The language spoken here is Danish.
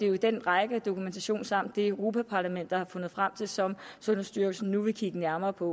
jo den række af dokumentation samt det europa parlamentet har fundet frem til som sundhedsstyrelsen nu vil kigge nærmere på